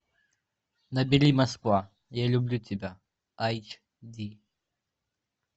набери москва я люблю тебя айч ди